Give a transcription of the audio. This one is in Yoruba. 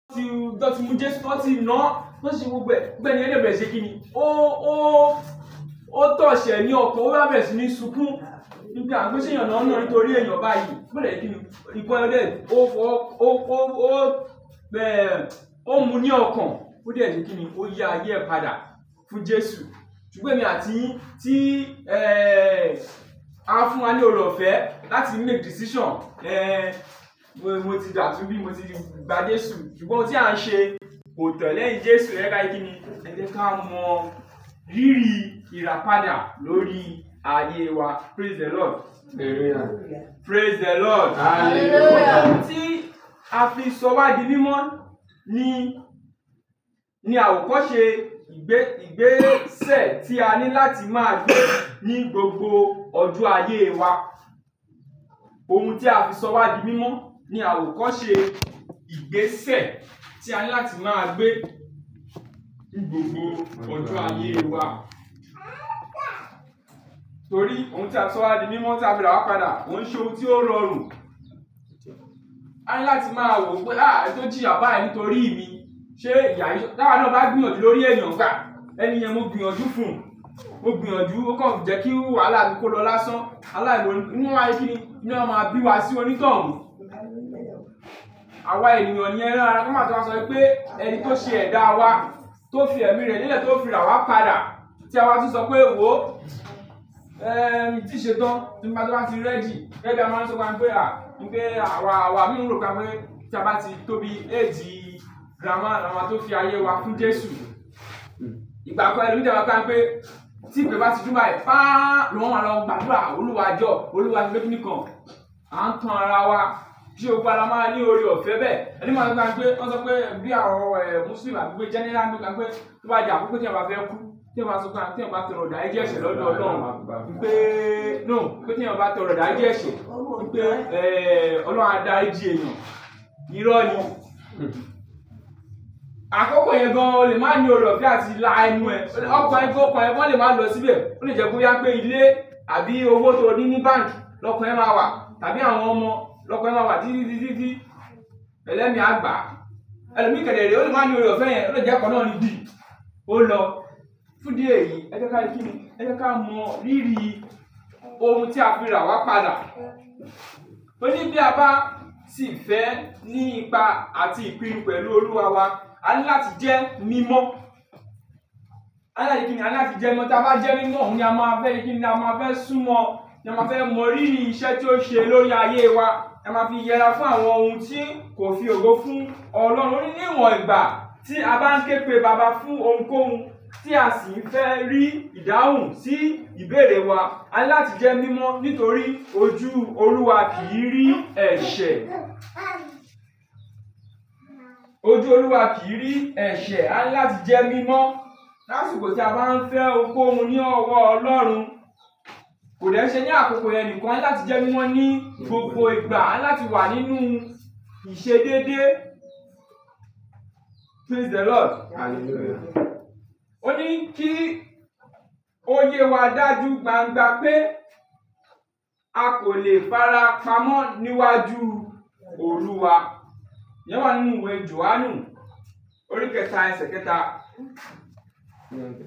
Tí ton ti mu Jesu, tí wón ti náa, ton se gbogbo ẹ̀, bi ẹni yen bẹ̀rẹ̀ se kí ni, ó, ó, ó touch e ní ọkan, ó wá bẹ̀rẹ̀ sí ní sunkún wipe àń s'eyan naa ń ná nítorí èèyàn bá èyí. Bée de ẹ kí ni, recorded, ó fọ́, ó, ó, ó, bẹ́ẹ̀, ó mu ní ọkàn. Ó de se kíni, ó yà ayé e padà fún Jesu. Ṣùgbọ́n èmi àti yin, tí, ẹ́, a fún wa ni ọ̀re ọ̀fẹ́ láti make decision, ẹ́, mo ti dàtunbí mo ti gba Jesu, ṣùgbọ́n ohun tí a ń ṣe kò tọ̀ lẹ́yìn Jesu. Ẹ je ká se kíni, ẹ jẹ́ ká mọ rírì ìràpadà lórí ayé wa. Praise the Lord. Hallelujah. Praise the Lord. Hallelujah. Ohun tí a fi sọ wá di mímọ̀ ni, ni àwòkọ́ṣe ìgbésẹ̀ tí a ní láti máa gbé ní gbogbo ọjo ayé wa. Ohun tí a fi sọ wá di mímọ̀ ni àwò kọ́ ṣe ìgbésẹ̀ tí a ní láti máa gbé ní gbogbo ọdún ayé wa. Torí ohun tí a fi sọ wá di mímọ̀ tí a fi rà wá padà, k'òun ṣe ohun tí ó rọrùn. A ní láti máa wò pé, "eniti ó jíya bayii nítorí mi, ṣe ìyà yi" t'awa náà bá gbìyànjú lórí èèyàn pe, ẹni yẹn mo gbìyànjú fún ùn. Mo gbìyànjú, ó kàn fi jẹ́ kí wahala mi kó lọ lásán. Aláìlòrí, ínú a kíni, inu a máa bí wa sí onítọ̀hùn. Àwa ènìyàn ni erán ara, ká máa tún máa sọ pé, ẹni tí ó ṣe ẹ̀dá wa, tí ó fi ẹ̀mí rẹ̀ lẹ́lẹ̀, tí ó fi rà wá padà, tí a bá tún sọ pé, "wo, ẹ́, mí ì ṣe tán." Tí mo bá to bá ti ready, gegi bi à má ń sọ pé, "à, nìpé àwa, àwa" mi ò rò pe a mọ́n tí a bá ti tóbi age, grandma la ma tó fi ayé wa fún Jesu. Ìgbà kan ẹlomii de máa so ń pé tí ìpè bá ti dùn báyi, fáá lọ́hun wa lọ gba àdúrà. Olúwa jọ́, Olúwa ṣe pé kí nìkan. A ń tan ara wa, je ó pa la máa ní oreọ̀fẹ́ bẹ́ẹ̀. Ẹni mií a so fun wa ń pé, wọ́n sọ pé bí àwọn, ẹ́, Muslim abi general ká ń pé to bá di akoko t'ẹyan bá fẹ́ kú, t'eyan bá sọ pé t'eyan bá tọrọ idàrijí ẹ̀ṣẹ̀ lọ́dọ̀ Ọlọ́run, máa pa. Nípé, no, ní pé tí ẹnì bá tọrọ idàrijí ẹ̀ṣẹ̀, ní pé, ẹ́, Ọlọ́run a dàrijí èèyàn. Irọ́ ni. Àkókò yẹn gan ò lè máa ní ọ̀reọ̀fẹ́ àti lá ẹnu ẹ. Ókan e kan ẹ́, gan lè máa lọ síbẹ̀. Ó lè jẹ́ kó yà pé ilé àbí owó tí o ní ní bank, lọkàn ẹ́ máa wà. Àbí àwọn ọmọ lọkàn ẹ́ máa wà dídí dídí dídí. Ẹlẹ́mi á gbà á. Ẹmi kẹdẹ̀rẹ, ò lè máa ní ọ̀reọ̀fẹ́ yen, ó lè jẹ́ kọ́ náà ni dì, ó lọ. Fún dí èyí, ẹ jẹ́ ká kí ni, ẹ jẹ́ ká mọ rírì ohun tí a fi rà wá padà. Ó ní bí a bá sì fẹ́ ní ipa àti ìpín pẹ̀lú Olúwa wa, a ní láti jẹ́ mímọ̀. A ní láti kí ni, a ní láti jẹ́ mímọ̀. Tí a bá jẹ́ mímọ̀, òun a máa fẹ́ kí ni, a máa fẹ́ sún mọ, a máa fẹ́ mọ rírì iṣẹ́ tí ó ṣe lórí ayé wa. A máa fi yẹra fún àwọn ohun tí kò fi ògo fún. Ọlọ́run níwọ̀n ìgbà tí a bá ń ké pe Baba fún ohunkóhun tí a sì ń fẹ́ rí ìdáhùn sí ìbéèrè wa, a ní láti jẹ́ mímọ̀ nítorí ojú Olúwa kì í rí ẹ̀ṣẹ̀. Ojú Olúwa kì í rí ẹ̀ṣẹ̀, a ní láti jẹ́ mímọ̀. Láṣùùkò tí a bá ń fẹ́ ohunkóhun ní ọwọ́ Ọlọ́run, kò dè ṣe ní àkókò yẹn nìkan a ni láti jẹ́ mímọ̀ ní gbogbo ìgbà, a ní láti wà nínú ìṣe dédé. Praise the Lord. Hallelujah. Ó yè wa dàjú gbangba pé a kò lè fara pamọ́ níwájú Olúwa. O wà nínú ìwé Johanu, orí kẹta, ẹsẹ̀ kẹta. Hmm.